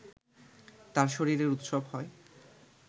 তার শরীরের উৎসব হয়